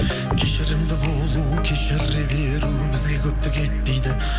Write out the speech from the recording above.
кешірімді болу кешіре беру бізге көптік етпейді